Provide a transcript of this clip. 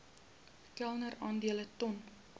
kelder aandele ton